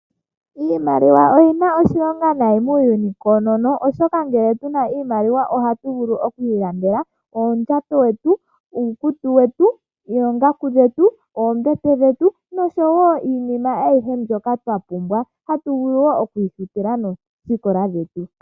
Iimaliwa oyina oshilonga nayi muuyuni koonono. Oshoka ngele tuna iimaliwa oha tuvulu okwi ilandela oondjato dhetu, uukutu wetu, oongaku dhetu, oombete dhetu, noshowo iinima ayihe mbyoka twa pumbwa hatuvulu wo okwiifutila noosikola dhetu.